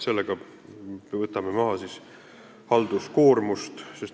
Sellega võtame maha halduskoormust.